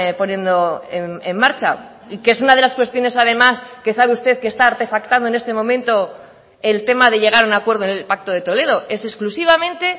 poniendo en marcha y que es una de las cuestiones además que sabe usted que está artefactado en este momento el tema de llegar a un acuerdo en el pacto de toledo es exclusivamente